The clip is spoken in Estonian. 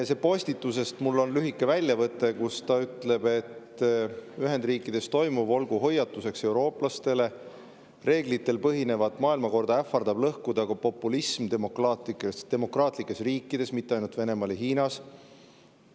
Sellest postitusest on mul lühike väljavõte, kus ta ütleb, et Ühendriikides toimuv olgu hoiatuseks eurooplastele, reeglitel põhinevat maailmakorda ähvardab lõhkuda populism demokraatlikes riikides, mitte ainult Venemaal ja Hiinas.